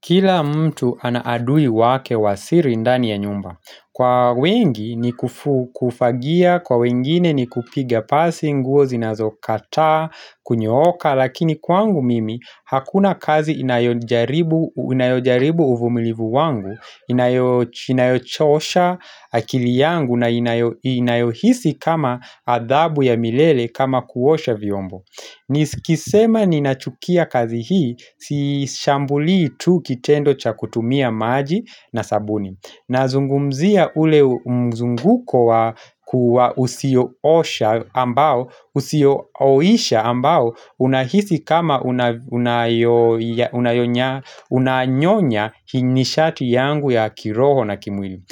Kila mtu ana adui wake wa siri ndani ya nyumba Kwa wengi ni kufagia, kwa wengine ni kupiga pasi nguo zinazokataa, kunyooka Lakini kwangu mimi hakuna kaziinayojaribu inayojaribu uvumilivu wangu Inayochosha akili yangu na inayohisi kama adhabu ya milele kama kuosha vyombo Nikisema ninachukia kazi hii, sishambuli tu kitendo cha kutumia maji na sabuni Nazungumzia ule mzunguko wa usioosha ambao, usioisha ambao unahisi kama unayonya, unanyonya nishati yangu ya kiroho na kimwili